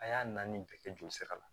A y'a naani bɛɛ kɛ joli sira la